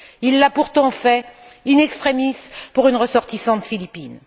Il l'a pourtant fait, in extremis, pour une ressortissante philippine.